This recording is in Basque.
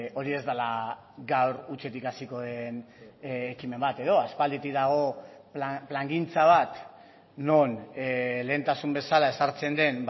hori ez dela gaur hutsetik hasiko den ekimen bat edo aspalditik dago plangintza bat non lehentasun bezala ezartzen den